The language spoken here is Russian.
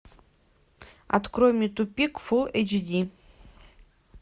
открой мне тупик фулл эйч ди